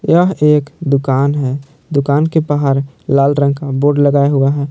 यह एक दुकान है दुकान के बाहर लाल रंग का बोर्ड लगा हुआ है।